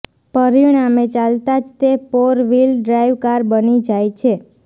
પરિણામે ચાલતા જ તે પોર વ્હીલ ડ્રાઇવ કાર બની જાય છે